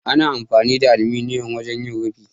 Ana amfani da aluminiyon wajen yin rufi.